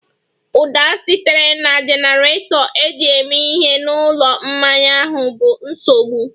Ụda sitere na jenerato eji eme ihe na ụlọ mmanya ahụ bụ nsogbu